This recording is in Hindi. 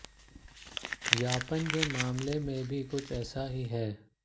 व्यापमं के मामले में भी कुछ ऐसा ही है